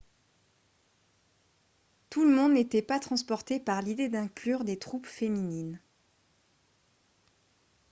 tout le monde n'était pas transporté par l'idée d'inclure des troupes féminines